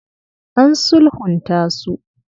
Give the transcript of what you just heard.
An sulhunta su.